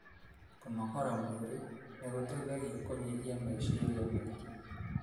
Kũnogora mwĩri nĩ gũteithagia kũnyihia meciria maingĩ.